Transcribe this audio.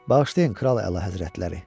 Bağışlayın, kral əlahəzrətləri.